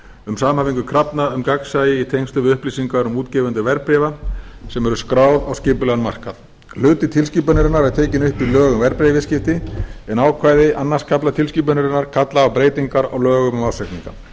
um samhæfingu krafna um gagnsæi í tengslum við upplýsingar um útgefendur verðbréfa sem eru skráð á skipulegan markað hluti tilskipunarinnar er tekin upp í lög um verðbréfaviðskipti en ákvæði öðrum kafla tilskipunarinnar kalla á breytingar á lögum um ársreikninga